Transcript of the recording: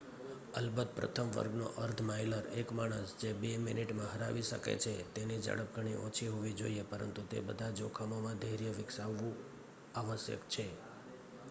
અલબત્ત પ્રથમ વર્ગનો અર્ધ માઇલર એક માણસ જે બે મિનિટમાં હરાવી શકે છે તેની ઝડપ ઘણી ઓછી હોવી જોઈએ પરંતુ તે બધા જોખમોમાં ધૈર્ય વિકસાવવું આવશ્યક છે